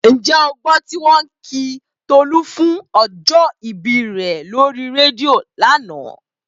Ǹjẹ́ o gbọ́ tí wọ́n kí Tolú fún ọjọ́ ìbí rẹ̀ lórí rédíò lánàá?